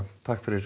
takk fyrir